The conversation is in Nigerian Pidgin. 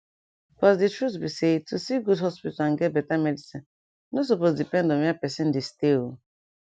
pause di truth be say to see good hospital and get beta medicine nor supose depend on where pesin dey stay o